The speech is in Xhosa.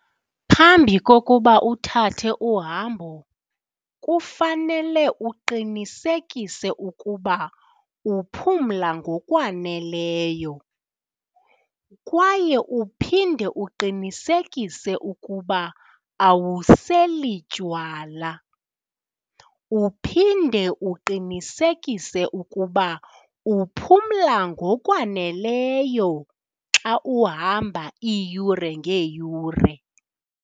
Phambi kokuba uthathe uhambo kufanele uqinisekise ukuba uphumla ngokwaneleyo kwaye uphinde uqinisekise ukuba awuseli tywala, uphinde uqinisekise ukuba uphumla ngokwaneleyo xa uhamba iiyure ngeeyure.